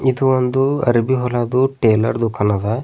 ಇದು ಒಂದು ಅರಬಿ ಹೊಲದು ಟೈಲರ್ ದುಕಾನ್ ಅದ.